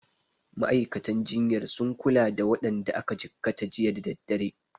Ma'aikatan jinyar sun kula da waɗanda aka jikkata jiya da daddare.